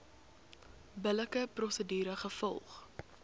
billike prosedure gevolg